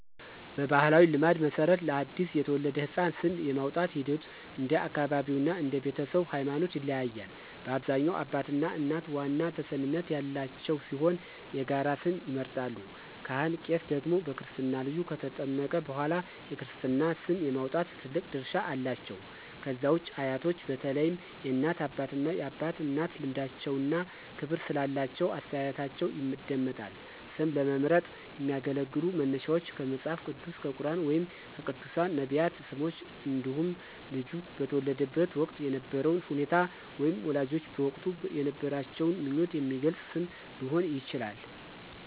በባሕላዊ ልማድ መሠረት፣ ለአዲስ የተወለደ ሕፃን ስም የማውጣቱ ሂደት እንደ አካባቢው እና እንደ ቤተሰቡ ሃይማኖት ይለያያል። በአብዛኛው አባትና እናት ዋና ተሰሚነት ያላቸው ሲሆን የጋራ ስም ይመርጣሉ። ካህን/ቄስ ደግሞ በክርስትና ልጁ ከተጠመቀ በኋላ የክርስትና ስም የማውጣት ትልቅ ድርሻ አላቸው። ከዛ ውጪ አያቶች በተለይም የእናት አባትና የአባት እናት ልምዳቸውና ክብር ስላላቸው አስተያየታቸው ይደመጣል። ስም ለመምረጥ የሚያገለግሉ መነሻዎች ከመጽሐፍ ቅዱስ፣ ከቁርኣን ወይም ከቅዱሳን/ነቢያት ስሞች እንዲሁም ልጁ በተወለደበት ወቅት የነበረውን ሁኔታ ወይም ወላጆች በወቅቱ የነበራቸውን ምኞት የሚገልጽ ስም ሊሆን ይችላል።